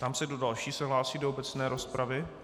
Ptám se, kdo další se hlásí do obecné rozpravy.